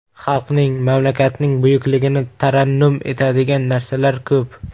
Xalqning, mamlakatning buyukligini tarannum etadigan narsalar ko‘p.